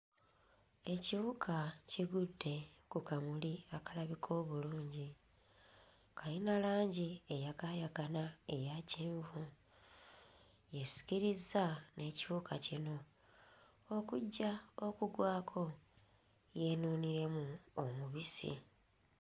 Ekiwuka kigudde ku kamuli akalabika obulungi, kayina langi eyakaayakana eya kyenvu esikirizza n'ekiwuka kino okujja okugwako yeenuuniremu omubisi.